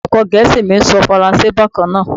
Olùkó gẹ̀ẹ́sì mi ń sọ Faransé bákan náà.